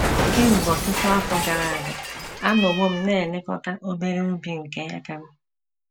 Kemgbe ọtụtụ afọ gara aga, anọwo m na - elekọta obere ubi nke aka m.